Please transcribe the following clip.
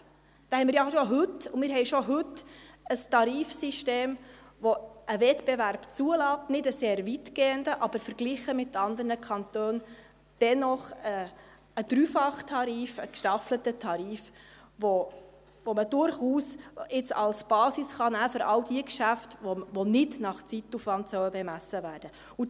Wir haben heute schon ein Tarifsystem, das einen Wettbewerb zulässt, nicht einen sehr weitgehenden, aber verglichen mit anderen Kantonen dennoch einen Dreifachtarif, einen gestaffelten Tarif, den man jetzt durchaus als Basis für all jene Geschäfte nehmen kann, die nicht nach Zeitaufwand bemessen werden sollen.